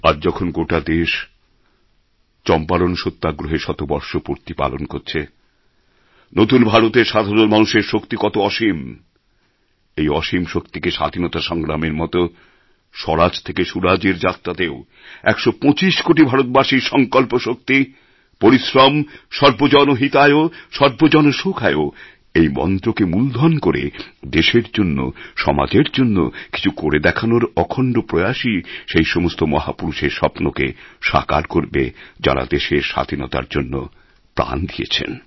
আজ যখন গোটা দেশ চম্পারণ সত্যাগ্রহের শতবর্ষ পূর্তি পালন করছে নতুন ভারতের সাধারণ মানুষের শক্তি কত অসীম এই অসীম শক্তিকে স্বাধীনতা সংগ্রামের মত স্বরাজ থেকে সুরাজের যাত্রাতেও একশো পঁচিশ কোটি ভারতবাসীর সংকল্পশক্তি পরিশ্রম সর্বজন হিতায় সর্বজন সুখায় এই মন্ত্রকে মূলধন করে দেশের জন্য সমাজের জন্য কিছু করে দেখানোর অখণ্ড প্রয়াসই সেই সমস্ত মহাপুরুষের স্বপ্নকে সাকার করবে যাঁরা দেশের স্বাধীনতার জন্য প্রাণ দিয়েছেন